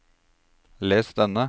les denne